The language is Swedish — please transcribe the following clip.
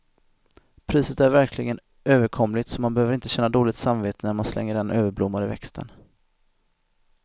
Priset är verkligen överkomligt, så man behöver inte känna dåligt samvete när man slänger den överblommade växten.